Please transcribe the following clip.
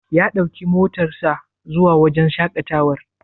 Ya ɗauki motar sa zuwa wajen shaƙatawar.